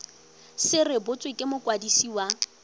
se rebotswe ke mokwadisi wa